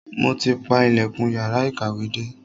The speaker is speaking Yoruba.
Mo ti pa ilẹ̀kùn yàrá ìkàwé dé.